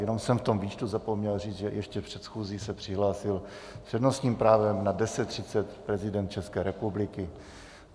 Jenom jsem v tom výčtu zapomněl říct, že ještě před schůzí se přihlásil s přednostním právem na 10.30 prezident České republiky.